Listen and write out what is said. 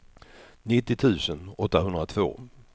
nittio tusen åttahundratvå